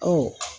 Ɔ